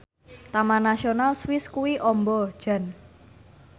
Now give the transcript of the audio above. Taman Nasional Swiss kuwi amba jan